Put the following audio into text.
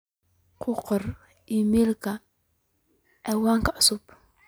ku qor iimaylkan ciwaanka cusub